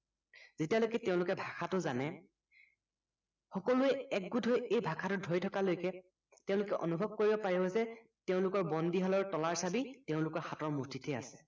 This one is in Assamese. যেতিয়ালৈকে তেওলোকে ভাষাটো জানে সকলোৱে একগোট হৈ এই ভাষাটো ধৰি থকালৈকে তেওলোকে অনুভৱ কৰিব পাৰিব যে তেওলোকৰ বন্দীশালৰ তলাৰ চাবি তেওলোকৰ হাতৰ মুঠিতে আছে